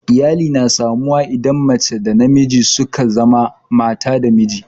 Iyali na samu wa idan mace da namiji suka zama mata da miji